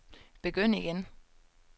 begynd igen